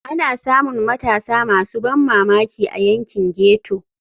Ana samun matasa masu ban mamaki a yankin ghetto.